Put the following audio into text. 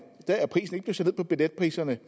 er billetpriserne